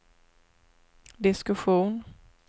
diskussion